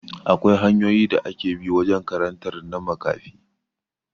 Akwai hanyoyin da ake bi wajen karantar na makafi